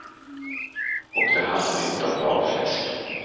Och det handlar inte om valfläsk.